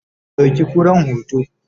ku ɗauki kuran hoto!